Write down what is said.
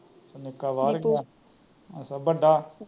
ਨਿੱਕਾ ਬਾਹਰ ਗਿਆ